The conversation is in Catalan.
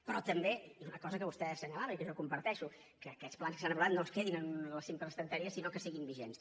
però també i és una cosa que vostè assenyalava i que jo comparteixo que aquests plans que s’han aprovat no es quedin en la simple estanteria sinó que siguin vigents